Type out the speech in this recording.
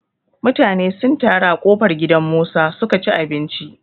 Mutane sun taro a ƙofar gidan Musa su ka ci abinci.